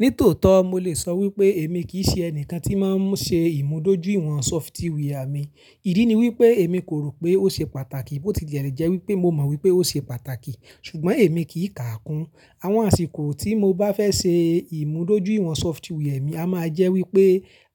Ní tòótọ́ mo lè sọ wípé èmi kì í ṣe ẹnìkan tí ń máa ń ṣe ìmúdójúìwọ̀n sọfitíwí à mi. Ìdí ni wípé èmi kò rò pé ó ṣe pàtàkì, bó ti le jẹ́ wípé mo mọ̀ wípé ó ṣe pàtàkì ṣùgbọ́n èmi kì í káàkún. Àwọn àsìkò tí mo bá fẹ́ ṣe ìmúdójúìwọ̀n sọfitíwí à mi a máa jẹ́ wípé,